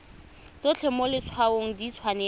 tsotlhe mo letshwaong di tshwanetse